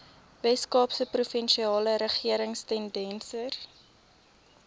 weskaapse provinsiale regeringstenders